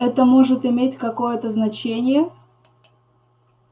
это может иметь какое-то значение